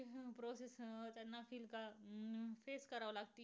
face कराव लागत.